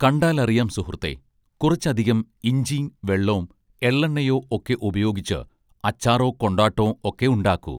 കണ്ടാലറിയാം സുഹൃത്തേ കുറച്ചധികം ഇഞ്ചീം വെള്ളോം എള്ളെണ്ണയോ ഒക്കെ ഉപയോഗിച്ച് അച്ചാറോ കൊണ്ടാട്ടോം ഒക്കെ ഉണ്ടാക്കു